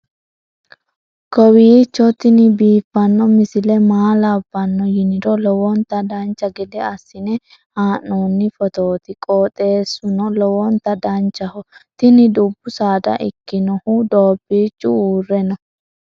kowiicho tini biiffanno misile maa labbanno yiniro lowonta dancha gede assine haa'noonni foototi qoxeessuno lowonta danachaho. tini dubbu saada ikkinohu doobbichu uurre no.